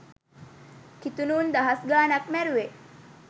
කිතුනු උන් දහස් ගානක් මැරුවේ?